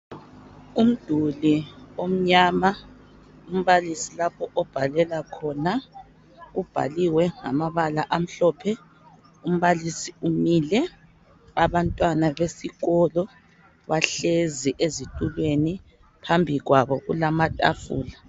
Umduli omnyama umbalisi lapho obhalela khona ubhaliwe ngamabala amhlophe umbalisi umile abantwana besikolo bahlezi ezitulweni phambi kwabo kulama tafula.